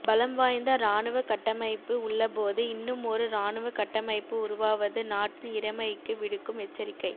பலம் வாய்ந்த இராணுவ கட்டமைப்பு உள்ளபோது இன்னுமொரு இராணுவ கட்டமைப்பு உருவாவது நாட்டின் இறைமைக்கு விடுக்கும் எச்சரிக்கை